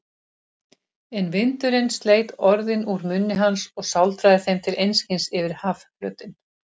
En vindurinn sleit orðin úr munni hans og sáldraði þeim til einskis yfir hafflötinn.